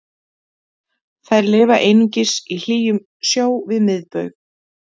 Þær lifa einungis í hlýjum sjó við miðbaug.